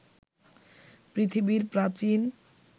পৃথিবীর প্রাচীন